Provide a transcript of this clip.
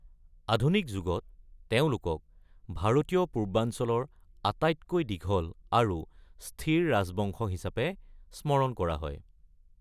আধুনিক যুগত, তেওঁলোকক ভাৰতীয় পূৰ্বাঞ্চলৰ আটাইতকৈ দীঘল আৰু স্থিৰ ৰাজবংশ হিচাপে স্মৰণ কৰা হয়।